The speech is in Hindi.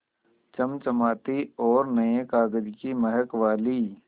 चमचमाती और नये कागज़ की महक वाली